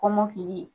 Kɔmɔkili